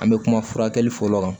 An bɛ kuma furakɛli fɔlɔ kan